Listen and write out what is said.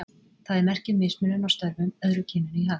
Það er merki um mismunun á störfum, öðru kyninu í hag.